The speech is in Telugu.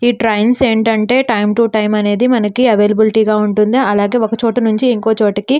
ఈ ట్రైన్స్ ఏంటంటే టైం టు టైం అనేది మనకు అవైలబుల్ గా ఉంటుంది అలాగే ఒక చోట నుంచి ఇంకో చోటికి --